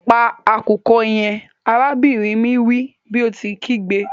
Pa akukọ yẹn! arabinrin mi wi bi o ti nkigbe.